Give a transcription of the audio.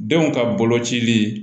Denw ka bolocili